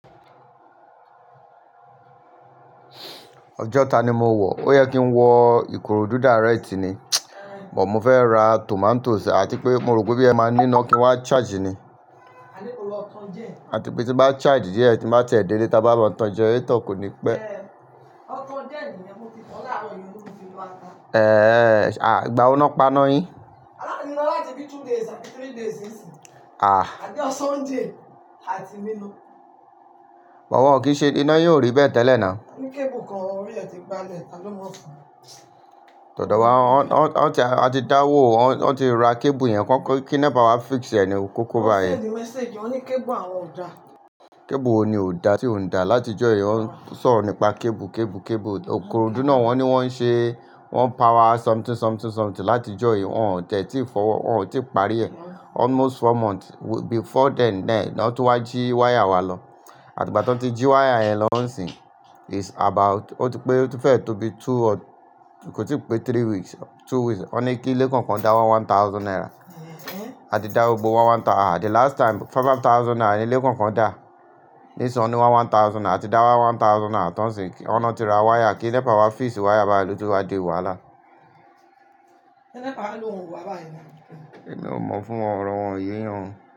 Ọjọ́ta ni mo wọ̀. Ó yẹ kí n wọ ìkòròdú dárẹ́ẹ̀tì ni, buh mo fẹ́ ra tòmátós àti pé mo rò pé bóyá ẹ máa ní iná kí n wá charge ni. Àti pé tí n bá charge díẹ̀ tin bá tiẹ̀ délé taba lọ tan generator koni pẹ́ ehen ìgbàwo ni wọ́n pano yín aa ni ná láti bí two days tàbí three days nisin. Ah. Àtí ọ̀jo sunday àti nina. Buh wọn kì í ṣe iná yìí ò rí bẹ́ẹ̀ tẹ́lẹ̀ ná. Ó ní kébù kan orí rẹ̀ ti balẹ̀, ta ló mọ̀ ọ́n. Tòdò wa, wọ́n ti, a ti dáwó, wọ́n ti ra kébù yẹn kí NEPA wá fix ẹ ni kó kó báyìí. Wọ́n pẹ̀ sí mi message, wọ́n ní kébù àwọn ò dá. Kébù wo ni ò dá, tí ò ń dà láti ọjọ́ yìí, wọ́n ń sọ̀rọ̀ nípa kébù, kébù, kébù. Òkè ọ̀rọ̀dúdá náà wọ́n ní wọ́n ń ṣe, wọ́n ń power something, something, something láti ọjọ́ yìí, wọ́n ò tẹ́tí fọ́wọ́, wọ́n ò tíì parí rẹ̀. Almost four months before then ló tún wá jí wáyà wa lọ. Àti gbá ti wọn ti jí wáyà yẹn lọ́ n sín, is about ó ti pé ó ti fẹ́ tó bí two or kò tíì pé three weeks or two weeks. Wọ́n ní kí ilé kọ̀ọ̀kan dá one one thousand naira. A ti dá gbogbo wa one thou-- àdí last time five five thousand naira ni ilé kọ̀ọ̀kan dà. Nísinsìnyí wọ́n ní one thousand, a ti dá wa one thousand náà tán sin wọ́n náà ti ra wáyà kí NEPA wá fix wáyà báyìí ló ti wá di wàhálà. Ṣé NEPA ló wọn wọ̀ wá báyìí náà? Mi ò mọ̀ fúnwọn o, ọ̀rọ̀ọ̀ wọn ò yé èyàn o.